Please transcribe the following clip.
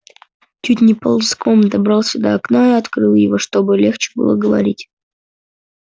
чуть не ползком добрался до окна открыл его чтобы легче было говорить